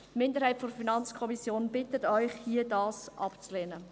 Die Minderheit der FiKo bittet Sie, dies hier abzulehnen.